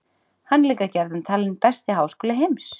Hann er líka gjarnan talinn besti háskóli heims.